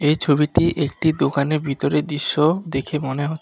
ছবিটি একটি দোকানে ভিতরের দৃশ্য দেখে মনে হ--